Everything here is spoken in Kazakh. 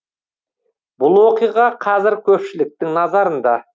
бұл оқиға қазір көпшіліктің назарында